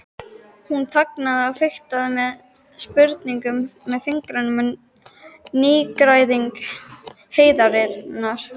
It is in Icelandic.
Hún þagnaði og fiktaði með sprungnum fingrum við nýgræðing heiðarinnar.